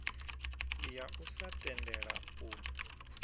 ya u sa tendela u